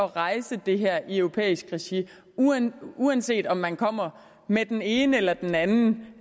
rejse det her i europæisk regi uanset uanset om man kommer med den ene eller den anden